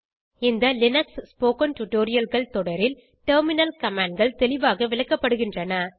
இந்த Linux spoken tutorialகள் தொடரில் டெர்மினல் commandகள் தெளிவாக விளக்கப்படுகின்றன